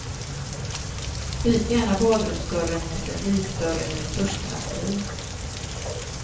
Byt gärna badrumsdörren mot en vikdörr eller ett duschdraperi.